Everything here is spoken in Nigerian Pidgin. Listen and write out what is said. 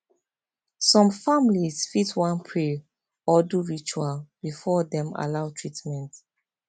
some families fit wan pray or do ritual before dem allow treatment